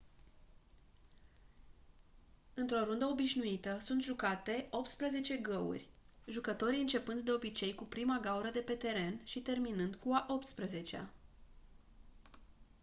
într-o rundă obișnuită sunt jucate optsprezece găuri jucătorii începând de obicei cu prima gaură de pe teren și terminând cu a optsprezecea